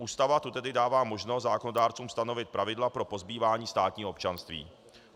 Ústava tu tedy dává možnost zákonodárcům stanovit pravidla pro pozbývání státního občanství.